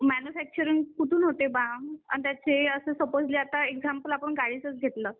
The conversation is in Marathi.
मॅन्युफॅक्चरिंग कुठून होते बा आणि त्याचे आता सपोजली आपण एक्झाम्पल गाडीचे घेतला